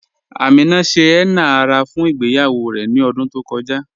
Amina ṣẹ̀ henna ara fún ìgbèyawó rè ní ọ̀dún tó kọja.